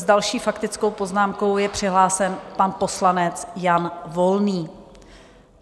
S další faktickou poznámkou je přihlášen pan poslanec Jan Volný.